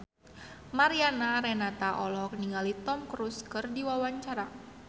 Mariana Renata olohok ningali Tom Cruise keur diwawancara